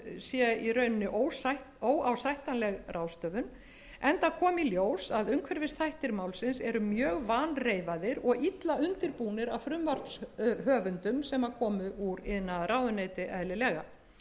sé í rauninni óásættanleg ráðstöfun enda kom í ljós að umhverfisþættir málsins eru mjög vanreifaðir og illa undirbúnir af frumvarpshöfundum sem komu úr iðnaðarráðuneyti eðlilega